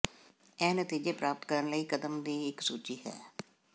ਇਹ ਨਤੀਜੇ ਪ੍ਰਾਪਤ ਕਰਨ ਲਈ ਕਦਮ ਦੀ ਇੱਕ ਸੂਚੀ ਹੈ